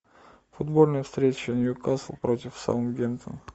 футбольная встреча ньюкасл против саутгемптон